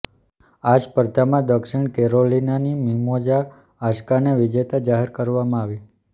આ સ્પર્ધામાં દક્ષિણ કેરોલિનાની મિમોજા હાસ્કાને વિજેતા જાહેર કરવામાં આવી